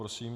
Prosím.